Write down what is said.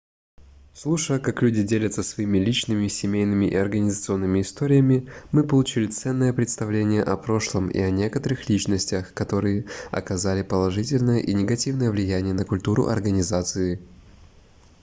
слушая как люди делятся своими личными семейными и организационными историями мы получили ценное представление о прошлом и о некоторых личностях которые оказали положительное и негативное влияние на культуру организации